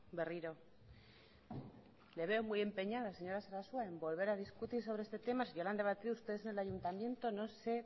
berriro le veo muy empeñada señora sarasua en volver a discutir sobre este tema si ya lo han debatido ustedes en el ayuntamiento no sé